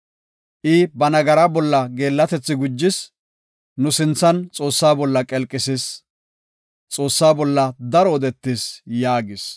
I ba nagaraa bolla geellatethi gujis; nu sinthan Xoossaa bolla qelqisis; Xoossa bolla daro odetis” yaagis.